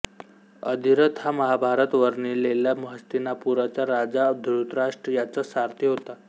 अधिरथ हा महाभारतात वर्णिलेला हस्तिनापुराचा राजा धृतराष्ट्र याचा सारथी होता